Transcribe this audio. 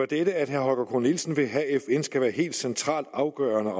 dette at herre holger k nielsen vil have at fn skal være helt centralt afgørende